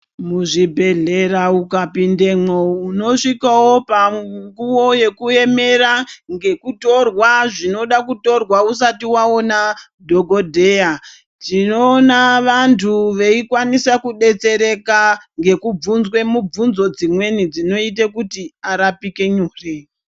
Muzvibhedhlera ukapindemwo unosvikawo panguwa yekuemera ngekutorwa zvinode kutorwa usati waona dhokodheya tinoona vantu veikwanise kudetsereka ngekubvunzwe mibvunzo dzimweni dzinoita kuti arapike nyore.